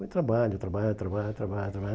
Foi trabalho, trabalho, trabalho, trabalho, trabalho.